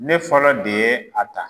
Ne fɔlɔ de ye a ta.